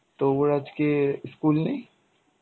তোর আজকে স্কুল নেই?